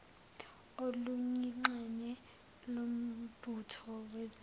oluyingxenye yombutho wezempi